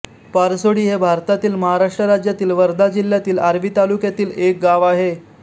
पारसोडी हे भारतातील महाराष्ट्र राज्यातील वर्धा जिल्ह्यातील आर्वी तालुक्यातील एक गाव आहे